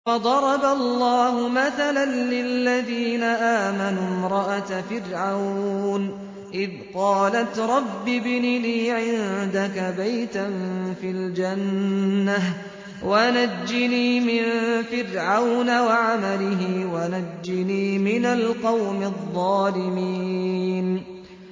وَضَرَبَ اللَّهُ مَثَلًا لِّلَّذِينَ آمَنُوا امْرَأَتَ فِرْعَوْنَ إِذْ قَالَتْ رَبِّ ابْنِ لِي عِندَكَ بَيْتًا فِي الْجَنَّةِ وَنَجِّنِي مِن فِرْعَوْنَ وَعَمَلِهِ وَنَجِّنِي مِنَ الْقَوْمِ الظَّالِمِينَ